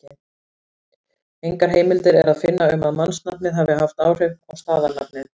Engar heimildir er að finna um að mannsnafnið hafi haft áhrif á staðarnafnið.